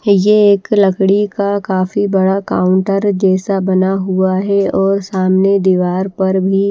यह एक लकड़ी का काफी बड़ा काउंटर जैसा बना हुआ है और सामने दीवार पर भी--